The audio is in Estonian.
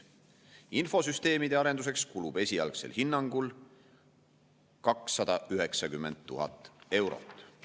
Infosüsteemide arenduseks kulub esialgsel hinnangul 290 000 eurot.